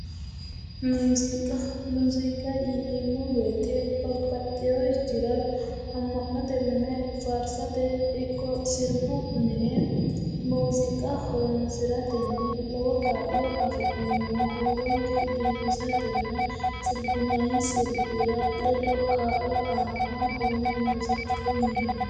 Muziiqa, muziiqa yineemmo woyte babbaxeyorichira ama'note mine faarsate ikko sirbu mine muziiqa horonsiratenni lowo kaa'lo afi'neemmo ,huuronke biifisatenna sirbinnayi sirbira ledo kaa'lo aano kone muziiqaho yineemmo